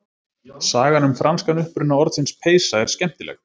Sagan um franskan uppruna orðsins peysa er skemmtileg.